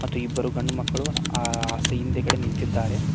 ಮತ್ತು ಇಬ್ಬರು ಗಂಡು ಮಕ್ಕಳು ಅ ಆಸ್ ಹಿಂದ್ಗಡೆ ನಿಂತಿದ್ದಾರೆ.